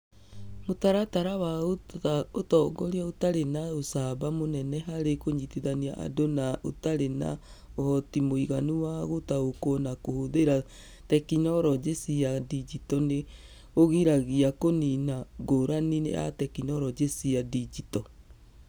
Mũtaratara wa ũtongoria ũtarĩ na ũcamba mũnene harĩ kũnyitithania andũ na ũtarĩ na ũhoti mũiganu wa gũtaũkĩrũo na kũhũthĩra tekinoronjĩ cia digito nĩ ũgiragia kũniina ngũrani ya tekinoronjĩ cia digito.